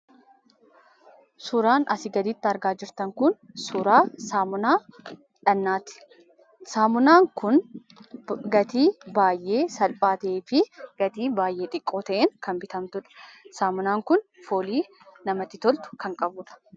Suuraan asii gadiitti argaa jirtan kun suura saamunaa dhaqnaati. Saamunaan kun gatii baay'ee salphaa ta'ee fi gatii baay'ee xiqqoo ta'een kan bitamtudha. Saamunaan kun fuulii namatti tolu kan qabdudha.